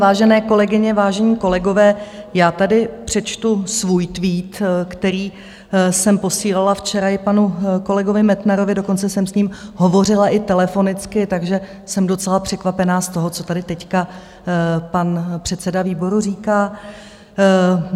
Vážené kolegyně, vážení kolegové, já tady přečtu svůj tweet, který jsem posílala včera i panu kolegovi Metnarovi, dokonce jsem s ním hovořila i telefonicky, takže jsem docela překvapena z toho, co tady teď pan předseda výboru říká.